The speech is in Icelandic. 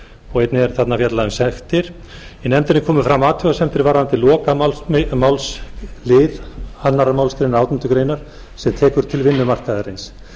og einnig er þarna fjallað um sektir í nefndinni komu fram athugasemdir varðandi lokamálslið annarrar málsgreinar átjándu grein sem tekur til vinnumarkaðarins